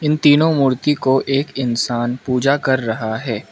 इन तीनों मूर्ति को एक इंसान पूजा कर रहा है।